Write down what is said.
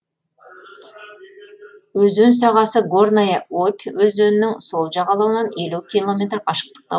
өзен сағасы горная обь өзенінің сол жағалауынан елу километр қашықтықта